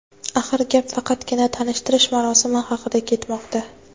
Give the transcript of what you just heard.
Axir gap faqatgina tanishtirish marosimi haqida ketmoqda.